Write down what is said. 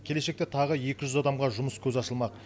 келешекте тағы екі жүз адамға жұмыс көзі ашылмақ